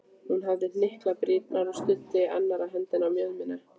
Hún hafði hnyklað brýnnar og studdi annarri hendinni á mjöðmina.